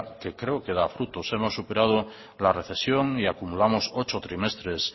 que creo que da frutos hemos superado la recesión y acumulamos ocho trimestres